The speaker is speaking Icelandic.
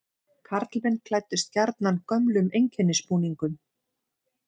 Karlmenn klæddust gjarnan gömlum einkennisbúningum.